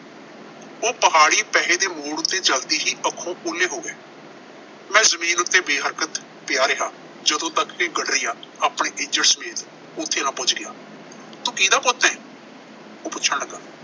ਉਹ ਪਹਾੜੀ ਪਹੇ ਦੇ ਮੋੜ ਉੱਤੇ ਚਲਦੀ ਸੀ, ਅੱਖੋਂ ਉਹਲੇ ਹੋ ਗਏ। ਮੈਂ ਜ਼ਮੀਨ ਉੱਤੇ ਬੇਹਰਕਤ ਪਿਆ ਰਿਹਾ, ਜਦੋਂ ਤੱਕ ਇਹ ਗਡਰੀਆ ਆਪਣੇ ਇੱਜੜ ਸਮੇਤ ਉੱਥ ਆ ਪਹੁੰਚ ਗਿਆ। ਤੂੰ ਕੀਹਦਾ ਪੁੱਤ ਐਂ, ਉਹ ਪੁੱਛਣ ਲੱਗਾ।